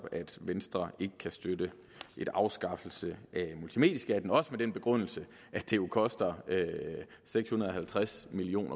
at venstre ikke kan støtte en afskaffelse af multimedieskatten også med den begrundelse at det jo koster seks hundrede og halvtreds million